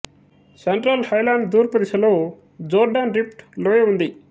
central highland తూర్పు దిశలో Jordan rift లోయ ఉంది